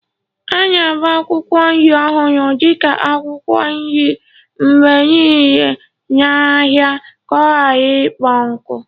A na-agba akwụkwọ nri ọhụrụ dị ka akwụkwọ nri mgbe niile n'ahịa ka ọ ghara ịkpọ nkụ.